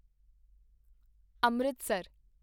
Amritsar